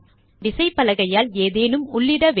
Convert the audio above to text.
நாம் விசைப்பலகையால் ஏதேனும் உள்ளிட வேண்டும்